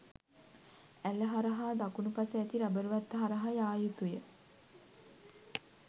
ඇළ හරහා දකුණුපස ඇති රබර්වත්ත හරහා යා යුතුය